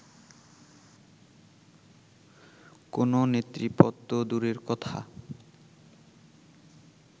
কোনো নেতৃপদ তো দূরের কথা